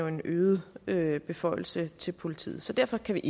en øget øget beføjelse til politiet så derfor kan